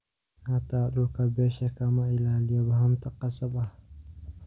Xataa dhulka beesha ka ma ilaaliyo hanti khasab ah.